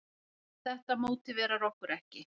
Þetta mótiverar okkur ekki.